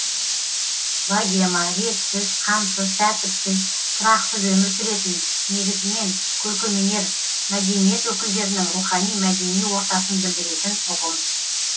богема ретсіз қамсыз тәртіпсіз тұрақсыз өмір сүретін негізінен көркемөнер мәдениет өкілдерінің рухани мәдени ортасын білдіретін ұғым